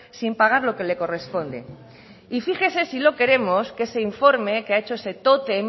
sin pagar lo que le corresponde y fíjese si lo queremos que ese informe que ha hecho ese tótem